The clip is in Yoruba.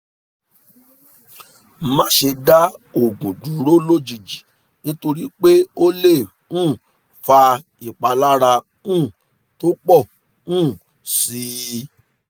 má ṣe dá oògùn dúró lójijì nítorí pé ó lè um fa ìpalára um tó pọ̀ um sí i